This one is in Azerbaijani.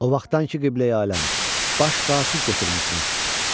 "O vaxtdan ki, Qibləyi-aləm, baş qasid götürmüsünüz,"